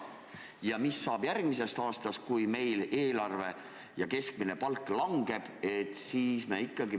Ja mis saab järgmisel aastal, kui meil eelarve kahaneb ja keskmine palk langeb?